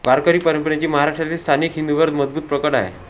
वारकरी परंपरेची महाराष्ट्रातील स्थानिक हिंदूंवर मजबूत पकड आहे